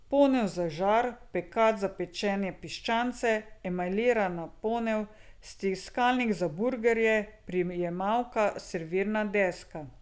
Ponev za žar, pekač za pečenje piščanca, emajlirana ponev, stiskalnik za burgerje, prijemalka, servirna deska ...